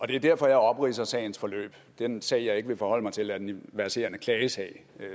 det er derfor jeg opridser sagens forløb den sag jeg ikke vil forholde mig til er den verserende klagesag